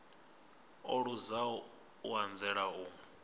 o luzaho u anzela u